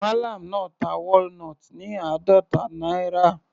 Mallam náà ta walnut ní àádọta náírà.